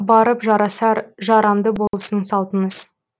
барып жарасар жарамды болсын салтыңыз